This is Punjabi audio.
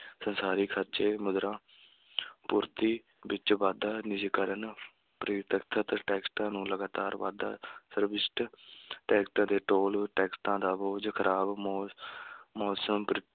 ਸਰਕਾਰੀ ਖ਼ਰਚੇ, ਮੁਦਰਾ ਪੂਰਤੀ ਵਿੱਚ ਵਾਧਾ, ਨਿੱਜੀਕਰਨ ਨੂੰ ਲਗਾਤਾਰ ਵਾਧਾ ਟੈਕਸਟਾਂ ਤੇ ਟੋਲ ਟੈਕਸਟਾਂ ਦਾ ਬੋਝ, ਖ਼ਰਾਬ ਮੌ~ ਮੌਸਮ